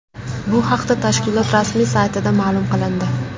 Bu haqda tashkilot rasmiy saytida ma’lum qilindi.